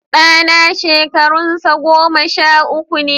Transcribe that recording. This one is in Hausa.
Ɗana shekarunsa goma sha uku ne